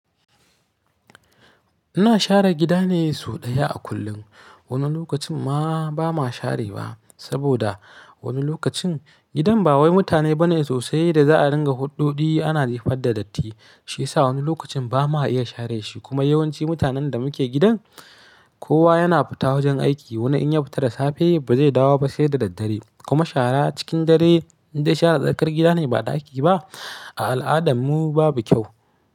Ina share gida ne sau ɗaya a kullum. Wani lokacin ma ba ma share ba, saboda wani lokacin gidan ba wai mutane bane sosai da za a dinga huɗɗuɗi ana jefar da datti. Shi yasa wani lokacin ba ma iya share shi kuma yawanci mutanen da muke gidan kowa yana fita wajen aiki. Wani in ya fita da safe ba zai dawo ba sai da daddare kuma shara cikin dare in dai shara tsakar gida ne ba ɗaki ba a al'adarmu babu kyau.